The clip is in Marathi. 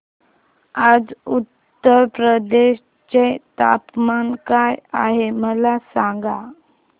आज उत्तर प्रदेश चे तापमान काय आहे मला सांगा